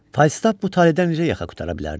Falstaf bu taleydən necə yaxa qurtara bilərdi?